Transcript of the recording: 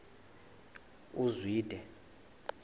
uzwide